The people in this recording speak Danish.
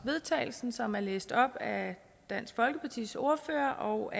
vedtagelse som er læst op af dansk folkepartis ordfører og